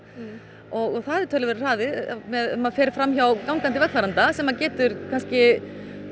og það er töluverður hraði ef maður fer fram hjá gangandi vegfaranda sem getur kannski